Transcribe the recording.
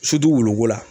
woloko la